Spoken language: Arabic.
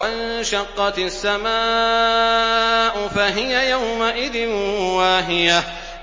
وَانشَقَّتِ السَّمَاءُ فَهِيَ يَوْمَئِذٍ وَاهِيَةٌ